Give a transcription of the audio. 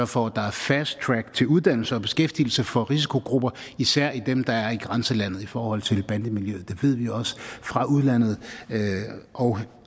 for at der er fast track til uddannelser og beskæftigelse for risikogrupper især dem der er i grænselandet i forhold til bandemiljøet det ved vi også fra udlandet og